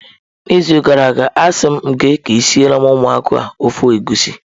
N'izu gara aga, asị m gị ka ị siere ụmụaka ofe egusi